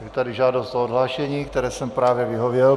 Je tady žádost o odhlášení, které jsem právě vyhověl.